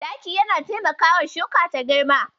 Taki yana taimakawa shuka ta girma.